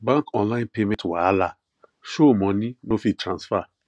bank online payment wahala show money no fit transfer